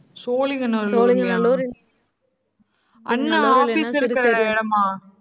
சோழிங்கநல்லூர்லயா அண்ணா office இருக்கிற இடமா?